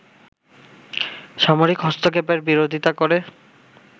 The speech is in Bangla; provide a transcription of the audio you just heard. সামরিক হস্তক্ষেপের বিরোধিতা করে